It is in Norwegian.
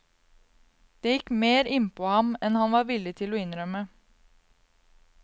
Det gikk mer innpå ham en han var villig til å innrømme.